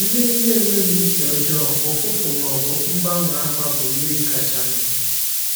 Mmiri na-enweghị isi ọjọọ, ụfụfụ ma ọ bụ mgbanwe agba bụ mmiri kacha mma.